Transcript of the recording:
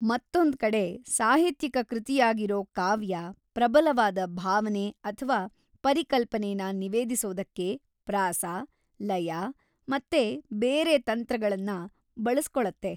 ಮತ್ತೊಂದ್ಕಡೆ, ಸಾಹಿತ್ಯಿಕ ಕೃತಿಯಾಗಿರೋ ಕಾವ್ಯ, ಪ್ರಬಲವಾದ ಭಾವನೆ ಅಥ್ವಾ ಪರಿಕಲ್ಪನೆನ ನಿವೇದಿಸೋದಕ್ಕೆ ಪ್ರಾಸ, ಲಯ ಮತ್ತೆ ಬೇರೆ ತಂತ್ರಗಳನ್ನ ಬಳಸ್ಕೊಳತ್ತೆ.